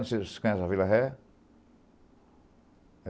Não sei se vocês conhecem a Vila Ré.